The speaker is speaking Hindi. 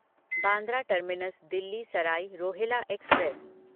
Bandra terminus Delhi Sarai Rohilla express